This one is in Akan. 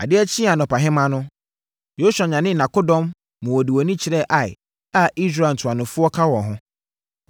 Adeɛ kyee anɔpahema no, Yosua nyanee nʼakodɔm maa wɔde wɔn ani kyerɛɛ Ai a Israel ntuanofoɔ ka wɔn ho.